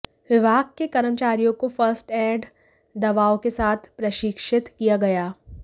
विभाग के कर्मचारियों को फर्स्ट एड दवाओं के साथ प्रशिक्षित किया गया